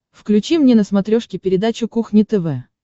включи мне на смотрешке передачу кухня тв